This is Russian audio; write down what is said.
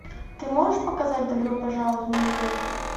ты можешь показать добро пожаловать в нью йорк